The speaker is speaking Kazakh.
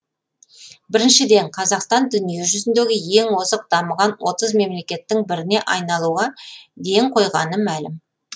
біріншіден қазақстан дүниежүзіндегі ең озық дамыған отыз мемлекеттің біріне айналуға ден қойғаны мәлім